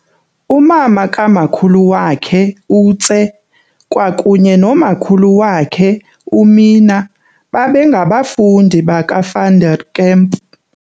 Umama kaMakhulu wakhe uTse kwakunye noMakhulu wakhe uMina babe ngabafundi baka Van der Kemp.